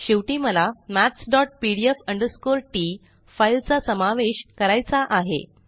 शेवटी मला mathspdf t फाइलचा सामावेश करायचा आहे